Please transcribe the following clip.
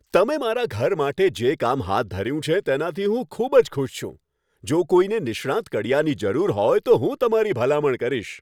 તમે મારા ઘર માટે જે કામ હાથ ધર્યું છે તેનાથી હું ખૂબ જ ખુશ છું. જો કોઈને નિષ્ણાંત કડિયાની જરૂર હોય, તો હું તમારી ભલામણ કરીશ.